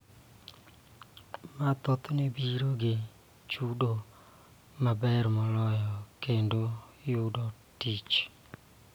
Ma thothne biro gi chudo maber moloyo kendo yudo tich.